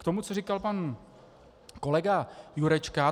K tomu, co říkal pan kolega Jurečka.